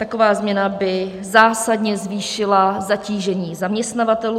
Taková změna by zásadně zvýšila zatížení zaměstnavatelů.